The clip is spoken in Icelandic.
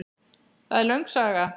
Það er löng saga.